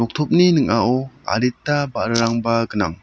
topni ning·ao adita ba·rarangba gnang.